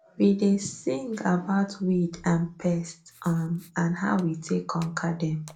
we dey sing about weed and pest um and how we take conquer dem